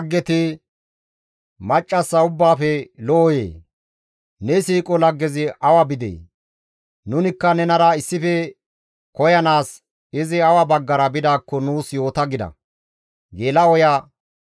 «Maccassa ubbaafe lo7oyee! Ne siiqo laggezi awa bidee? Nunikka nenara issife koyanaas, izi awa baggara bidaakko nuus yoota» gida.